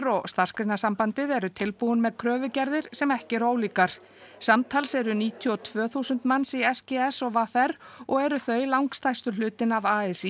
og Starfsgreinasambandið eru tilbúin með kröfugerðir sem ekki eru ólíkar samtals eru níutíu og tvö þúsund manns í s g s og v r og eru þau langstærstur hlutinn af a s